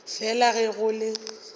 fela le ge go le